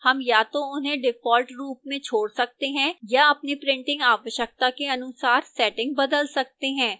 हम या तो इन्हें default रूप में छोड़ सकते हैं या अपनी printing आवश्यकता के अनुसार setting बदल सकते हैं